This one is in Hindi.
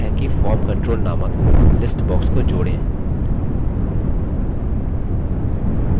एक तरीका है कि form control नामक list box को जोड़ें